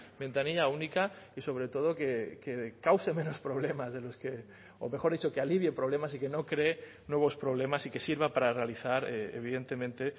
ventanilla única y sobre todo que cause menos problemas de los que o mejor dicho que alivie problemas y que no cree nuevos problemas y que sirva para realizar evidentemente